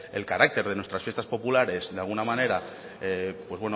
el carácter de nuestras fiestas popular de alguna manera pues